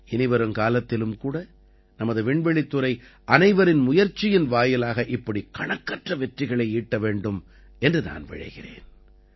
இனிவருங்காலத்திலும் கூட நமது விண்வெளித்துறை அனைவரின் முயற்சியின் வாயிலாக இப்படி கணக்கற்ற வெற்றிகளை ஈட்ட வேண்டும் என்று நான் விழைகிறேன்